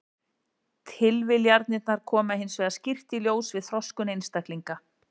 Tilviljanirnar koma hins vegar skýrt í ljós við þroskun einstaklinga.